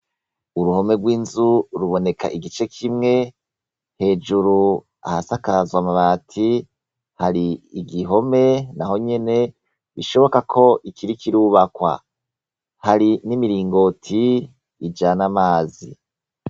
Uruhome rw'inzu ruboneka igice kimwe hejuru hasakajwe amabati hari igihome naho nyene bishoboka ko ikiriko irubakwa hari n'imiringoti ijana amazi.